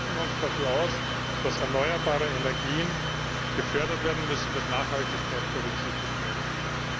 Wir sprechen uns dafür aus, dass erneuerbare Energien gefördert werden müssen, dass Nachhaltigkeit berücksichtigt werden